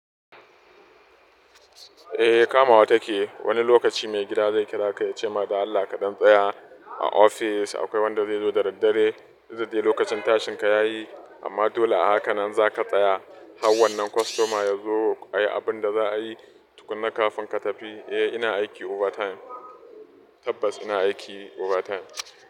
Eh kamawa take. Wani lokaci mai gida zai kira ka ya ce ma da Allah kaɗan tsaya a office. Akwai wanda zai zo da daddare. Dukda kai lokacin tashin ka ya yi, amma dole a haka nan za ka tsaya har wannan kostoma ya zo ayi abun da za a yi tukuna kafin ka tafi. Eh, ina aiki overtime. Tabbas ina aiki overtime.